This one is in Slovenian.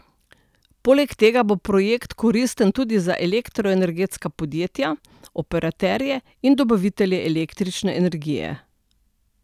Poleg tega bo projekt koristen tudi za elektroenergetska podjetja, operaterje in dobavitelje električne energije.